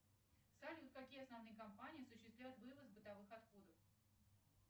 салют какие основные компании осуществляют вывоз бытовых отходов